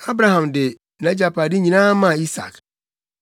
Abraham de nʼagyapade nyinaa maa Isak.